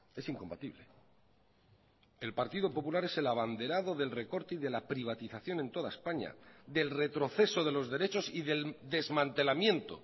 es incompatible el partido popular es el abanderado del recorte y de la privatización en toda españa del retroceso de los derechos y del desmantelamiento